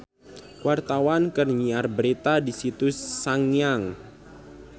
Wartawan keur nyiar berita di Situ Sangiang